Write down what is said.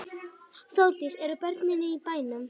Þórdís: Eru börnin í bænum?